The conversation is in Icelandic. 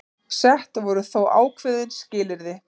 Sett voru þó ákveðin skilyrði